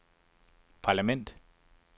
parlament